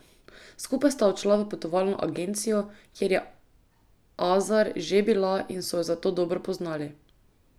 Skupaj sta odšla v potovalno agencijo, kjer je Azar že bila in so jo zato dobro poznali.